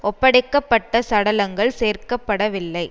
ஒப்படைக்க பட்ட சடலங்கள் சேர்க்க படவில்லை